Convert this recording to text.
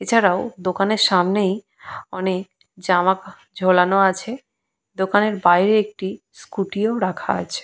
এছাড়াও দোকানের সামনেই অনেক জামা ঝুলানো আছে দোকানের বাইরে একটি স্কুটি -ও রাখা আছে।